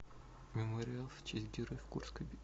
мемориал в честь героев курской битвы